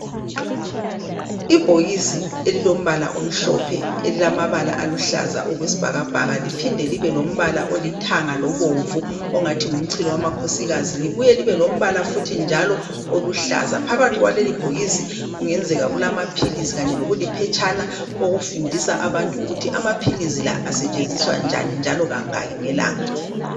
Ibhokisi elilombala omhlophe elilamabala aluhlaza okwesibhakabhaka liphinde libe lombala olithanga lobomvu ongathi ngumchilokamakhosikazi libuye libe lombala futhi njalo oluhlaza , phakathi kwalelibhokisi kungenzeka kulamaphilizi kanye lokuliphetshana okufundisa abantu ukuthi amaphilizi la asetshenziswa njani njalo kangaki ngelanga